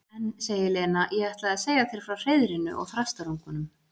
En, segir Lena, ég ætlaði að segja þér frá hreiðrinu og þrastarungunum.